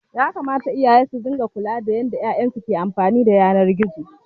Yakamata iyaye su ringa kula da yanda 'ya'yan su ke amfani da yanar gizo.